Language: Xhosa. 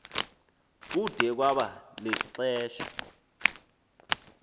kude kwaba lixesha